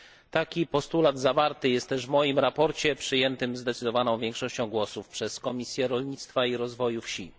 Taki postulat zawarty jest również w moim sprawozdaniu, przyjętym zdecydowaną większością głosów przez Komisję Rolnictwa i Rozwoju Wsi.